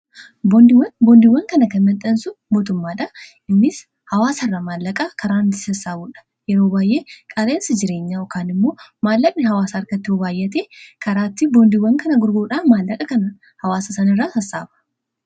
boondiiwwan kana kanmaxansu mootummaadha innis hawaasa irraa maallaqaa karaai sassaabuudha yeroo baayyee qaleensi jireenyaa okaan immoo maallaqni hawaasa arkatti ubaayate karaatti boondiiwwan kana gurguudhaa maallaqa kana hawaasa san irraa sassaaba